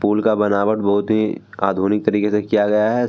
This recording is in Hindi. पुल का बनावट बहुत ही आधुनिक तरिके से किया गया है।